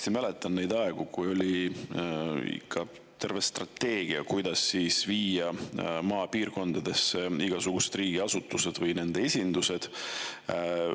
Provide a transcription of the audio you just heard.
Ma mäletan hästi neid aegu, kui oli ikka terve strateegia, kuidas viia maapiirkondadesse igasuguseid riigiasutusi või nende esindusi.